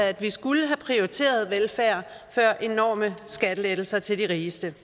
at vi skulle have prioriteret velfærd før enorme skattelettelser til de rigeste